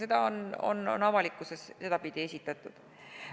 Seda on avalikkuses sedapidi esitletud.